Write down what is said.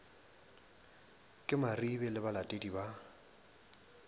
ke maribe le balatedi ba